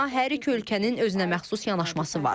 Buna hər iki ölkənin özünəməxsus yanaşması var.